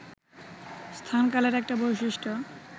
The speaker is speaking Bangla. স্থান, কালের একটা বৈশিষ্ট্য